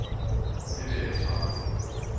Det vil jeg ikke svare på.